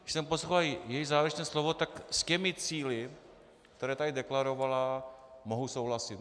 Když jsem poslouchal její závěrečné slovo, tak s těmi cíli, které tady deklarovala, mohu souhlasit.